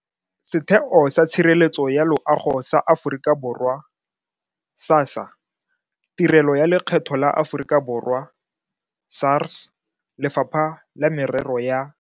Setheo sa Tshireletso ya Loago sa Aforika Borwa SASSA, Tirelo ya Lekgetho la Aforika Borwa SARS, Lefapha la Merero ya.